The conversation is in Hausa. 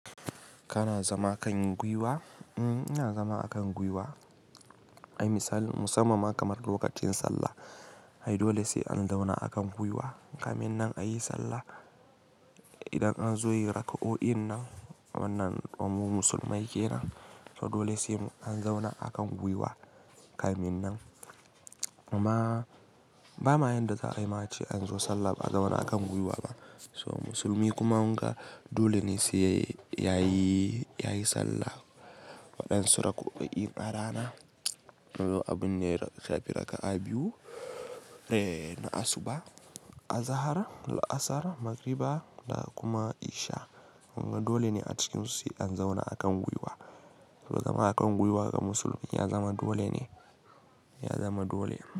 Kana zama kan guiwa? Mm, ina zama akan guiwa. Ai misal, musamman kamar lokacin sallah. Ai dole sai an zauna akan guiwa kamin nan a yi sallah. Idan an zo yi raka'o'in nan, wannan ɗan mu musulmai kenan, to dole sai an zauna akan guiwa kamin nan. Amma ba ma yanda za a yi ma ce an zo sallah ba a zauna akan guiwa ba. So musulmi kuma wanga dole ne sai yayi, yayi sallah waɗansu raka'o'in ƙarana. Abun ne shafi raka'a biyu, eh, na asuba, azahar, laasar, magriba da kuma isha. Wanga dole ne a cikinsu sai an zauna akan guiwa. To zama akan guiwa ga musulmi ya zama dole ne. Ya zama dole.